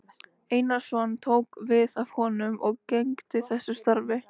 Einarsson tók við af honum og gegndi þessu starfi